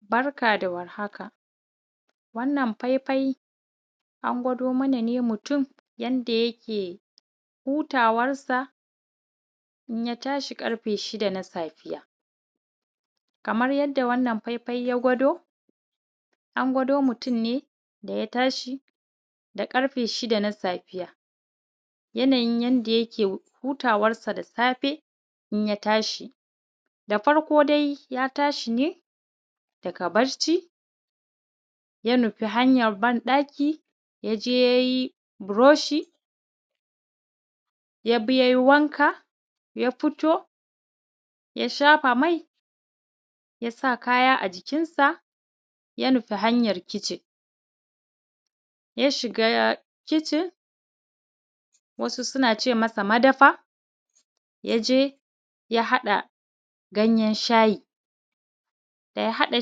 Barka da war haka, wannan faifai an gwado mana ne mutum yanda yake hutawar sa in ya tashi ƙarfe shida na safe 6:00am. Kamar yadda wannan faifai ya gwado an gwado mutum ne da ya tashi ƙarfe shida na safiya, yanayin yanda yake hutawar shi da safe in ya tashi. Da farko dai ya tashi ne daga barci ya nufi hanyan ban ɗaki ya je yayi broshi, ya bi yi wanka, ya fito ya shafa mai, ya sa kaya a jikin sa, ya nufi hanyan kicin, ya shiga kicin. Wasu suna ce masa madafa ya je ya haɗa ganyen shayi, daya haɗa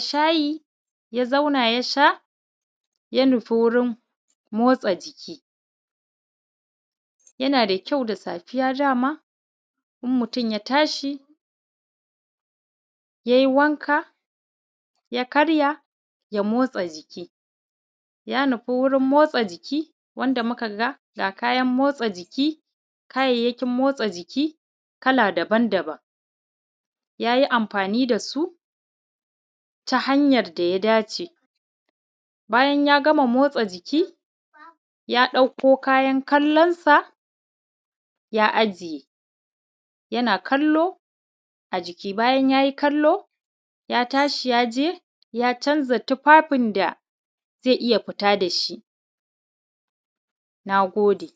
shayi ya zauna ya sha ya nufi warin motsa jiki. Yana da kyau da safiya dama in mutum ya tashi ya yi wanka ya karya ya motsa jiki. Ya nufi wajen motsa jiki, wanda muka ga ga kayan motsa jiki, kayayyakin motsa jiki kala daban daban. Ya yi amfani da su ta hanyan da ya dace bayan ya gama mo motsa jiki, ya ɗakko kayan kallansu ya ajiye yana kallo a jiki. Bayan ya gama kallo, ya tashi ya je ya canza tufafin da zai iya fita da shi. Na gode.